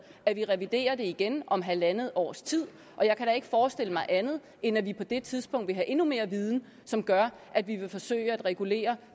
at vi reviderer det igen om halvandet års tid og jeg kan da ikke forestille mig andet end at vi på det tidspunkt vil have endnu mere viden som gør at vi vil forsøge at regulere